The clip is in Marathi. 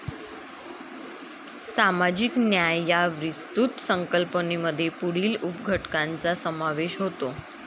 सामाजिक न्याय या विस्तृत संकल्पनेमध्ये पुढील उपघटकांचा समावेश होतो.